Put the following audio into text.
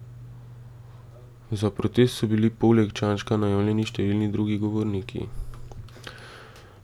Za protest so bili poleg poleg Čanžka najavljeni številni drugi govorniki.